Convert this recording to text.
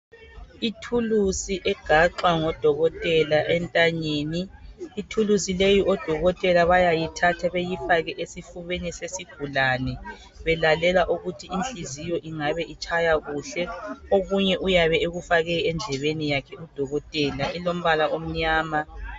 Ithuluzi eligaxwa ngodokotela entanyeni ,ithuluzi leli bayalithatha balifake esifubeni sesigulane befuna ukuzwa ukuthi inhliziyo itshaya kuhle okunye uyabe efake endlebeni udokotela kulombala omnyama.